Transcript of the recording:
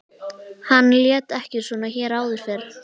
Hann lét ekki svona hér áður fyrr.